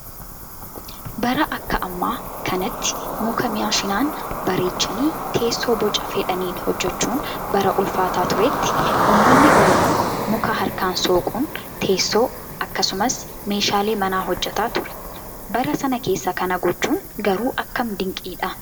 Bara Akka ammaa kanatti muka maashinaan bareechanii teessoo Boca fedhaniin hojjachuun bara ulfaataa turetti uummanni oromoo muka harkaan soquun teessoo akkasumas meeshaalee manaa hojjataa ture. Bara sana keessa kana gochuun garuu akkam dinqiidha